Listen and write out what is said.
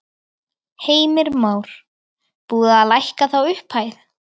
Heimir Már: Búið að lækka þá upphæð?